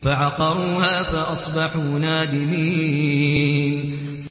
فَعَقَرُوهَا فَأَصْبَحُوا نَادِمِينَ